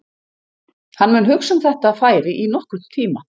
Hann mun hugsa um þetta færi í nokkurn tíma.